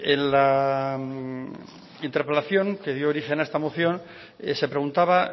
en la interpelación que dio origen a esta moción se preguntaba